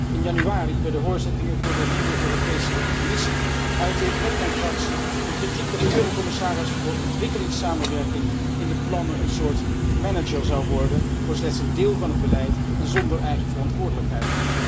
In januari, bij de hoorzittingen voor de nieuwe Europese Commissie, uitte ik met mijn fractie de kritiek dat de commissaris voor ontwikkelingssamenwerking in de plannen een soort manager zou worden voor slechts een deel van het beleid en zonder eigen verantwoordelijkheid.